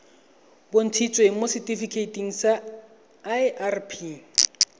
bontshitsweng mo setifikeiting sa irp